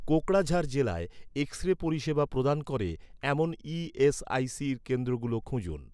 কোকরাঝাড় জেলায় X ray পরিষেবা প্রদান করে, এমন ই.এস.আই.সির কেন্দ্রগুলো খুঁজুন